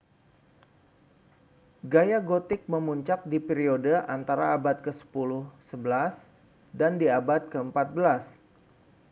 gaya gotik memuncak di periode antara abad ke 10-11 dan di abad ke-14